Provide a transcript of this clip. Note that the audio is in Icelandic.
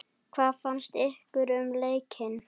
Hvað finnst ykkur um leikinn?